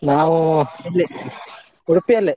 ನಾವು ಇಲ್ಲಿ ಉಡುಪಿಯಲ್ಲೇ.